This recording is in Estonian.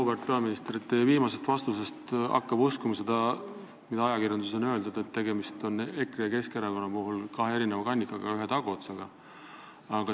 Auväärt peaminister, teie viimase vastuse kohta: hakka või uskuma seda, mida ajakirjanduses on öeldud, et EKRE ja Keskerakonna puhul on tegemist kahe erineva kannikaga, aga ühe taguotsaga.